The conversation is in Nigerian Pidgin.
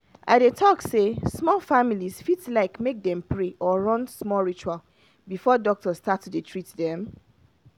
i dey talk say some families fit like make dem pray or run small ritual before doctor start to dey treat them.